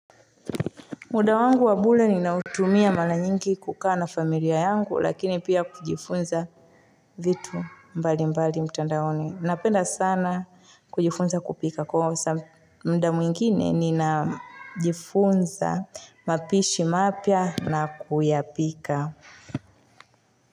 Muda wangu wa bure ninautumia mara nyingi kukaa na familia yangu lakini pia kujifunza vitu mbalimbali mtandaoni. Napenda sana kujifunza kupika kwa muda mwingine ninajifunza mapishi mapya na kuyapika.